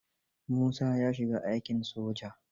Musa ya shiga aikin soja.